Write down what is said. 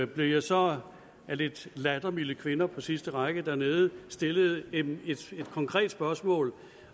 blev jeg så af lidt lattermilde kvinder på sidste række dernede stillet et konkret spørgsmål